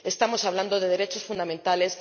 Estamos hablando de derechos fundamentales.